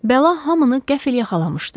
Bəla hamını qəfil yaxalamışdı.